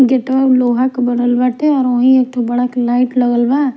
gate वा उ लोहा के बनल बाते और उहेन एगो बड़ा सा लाइट लगल बा --